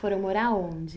Foram morar aonde?